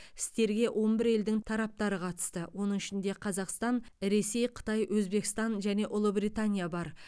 істерге он бір елдің тараптары қатысты оның ішінде қазақстан ресей қытай өзбекстан және ұлыбритания бар